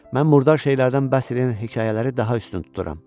Mən murdar şeylərdən bəhs eləyən hekayələri daha üstün tuturam.